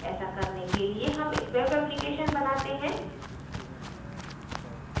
ऐसा करने के लिए हम एक web application बनाते हैं